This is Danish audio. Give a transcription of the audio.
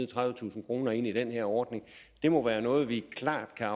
tredivetusind kroner ind i den her ordning må være noget vi klart kan